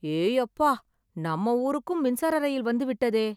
ஏயப்பா! நம்ம ஊருக்கும் மின்சார ரயில் வந்துவிட்டதே!